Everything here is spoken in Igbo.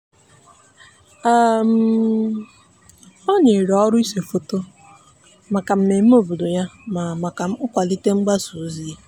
um o nyere ọrụ ise foto maka mmemme obodo ya na maka nkwalite mgbasa ozi.